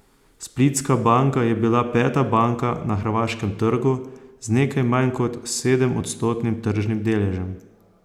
Splitska banka je bila peta banka na hrvaškem trgu z nekaj manj kot sedemodstotnim tržnim deležem.